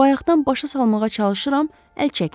Bayaqdan başa salmağa çalışıram, əl çəkmir.